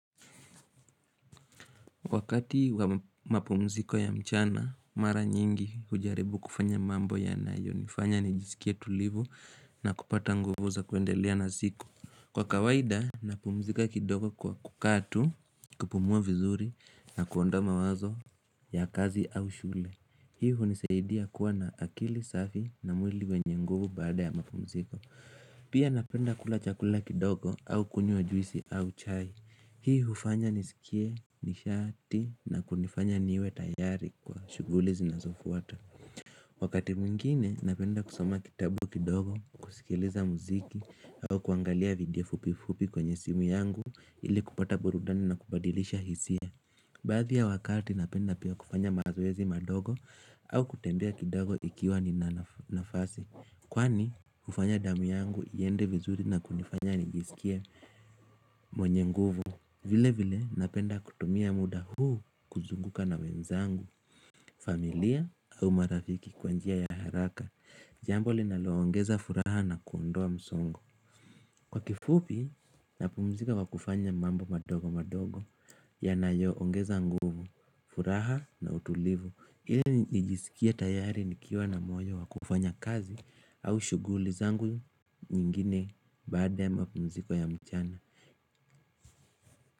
Wakati wa mapumziko ya mchana, mara nyingi hujaribu kufanya mambo yanayo, nifanya nijisikie tulivu na kupata nguvu za kuendelea na siku. Kwa kawaida, napumzika kidogo kwa kukaa tu, kupumua vizuri na kuondoa mawazo ya kazi au shule. Hio hunisaidia kuwa na akili safi na mwili wenye nguvu baada ya mapumziko. Pia napenda kula chakula kidogo au kunyua juisi au chai. Hii hufanya nisikie, nishati na kunifanya niwe tayari kwa shughuli zinazofuata Wakati mwingine napenda kusoma kitabu kidogo, kusikiliza muziki au kuangalia video fupi fupi kwenye simu yangu ili kupata burudani na kubadilisha hisia Baadhi ya wakati napenda pia kufanya mazoezi madogo au kutembea kidogo ikiwa nina nafasi Kwani hufanya damu yangu iende vizuri na kunifanya nijisikie mwenye nguvu vile vile napenda kutumia muda huu kuzunguka na wenzangu, familia au marafiki kwa njia ya haraka, jambo linaloongeza furaha na kuondoa msongo. Kwa kifupi, napumzika kwa kufanya mambo madogo madogo yanayoongeza nguvu, furaha na utulivu. Ili nijisikie tayari nikiwa na moyo wa kufanya kazi au shughuli zangu nyingine baada ya mapumziko ya mchana.